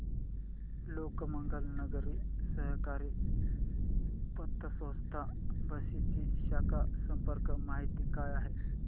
लोकमंगल नागरी सहकारी पतसंस्था बार्शी ची शाखा संपर्क माहिती काय आहे